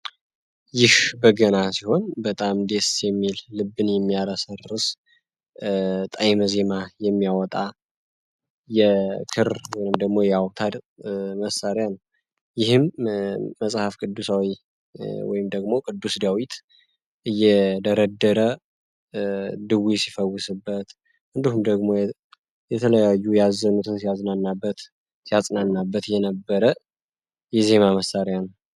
ይህ በገና ሲሆን በጣም ዴስ የሚል ልብን የሚያራሰርርስ ጣይመ ዜማ የሚያወጣ የክር ወይንም ደግሞ የውታር መሣሪያ ነው። ይህም መጽሐፍ ቅዱሳዊ ወይም ደግሞ ቅዱስ ዳያዊት እየደረደረ ድዊ ሲፈውስበት እንዱም ደሞ የተለያዩ ያዘኑትን ያዝናናበት ሲያጽናናበት የነበረ የዜማ መሣሪያ ነው።